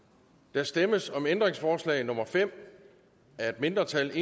der stemmes om ændringsforslag nummer fem af et mindretal